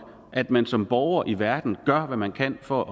at man som borger i verden gør hvad man kan for at